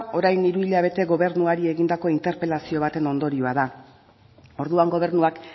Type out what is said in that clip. orain hiru hilabete gobernuari egindako interpelazio baten ondorio da orduan gobernuak